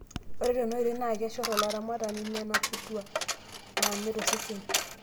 Ore tena oitoi, naa keshorr olaramatani nena putua naame tosesen.